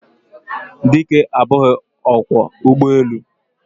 Dike abughi okwo ugboelu.